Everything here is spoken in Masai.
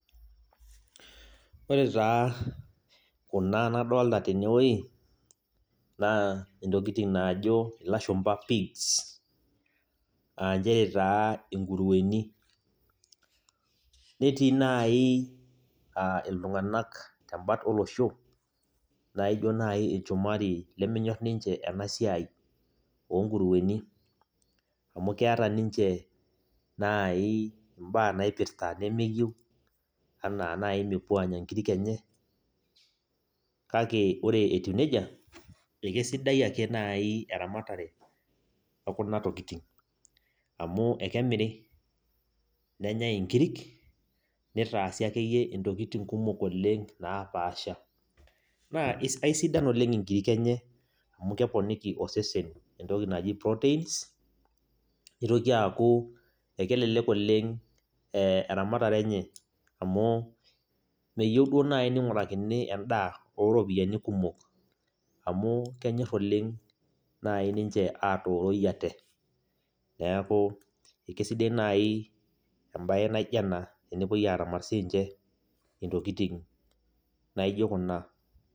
Wore taa, kuna nadoolta tenewuoji, naa intokitin naajo ilashumba pigs aa nchere taa inkuruweni, netii naai ah iltunganak tembat olosho, naijo naaji ilshumari lemenyorr ninche ena siai oo nguruweni, amu keeta ninche, naai imbaa naipirta nemeyiou, enaa naai mepuo aanya inkirik enye, kake wore etiu nejia, ekesidai ake naai eramatare oo kuna tokitin, amu ekemirri, nenyai inkirik, nitaasi akeyie intokitin kumok oleng' naapaasha. Naa aisidan oleng' inkirik enye amu keponiki osesen entoki naji proteins nitoki aaku, ekelelek oleng', eh eramatare enye, amu meyieu duo naaji ningurakini endaah ooropiyiani kumok, amu kenyor oleng' naai ninche aatoroi ate. Neeku kaisidai naai embaye naaijo ena tenepuoi aaramat siinche intokitin naijo kuna.